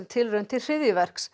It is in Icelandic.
tilraun til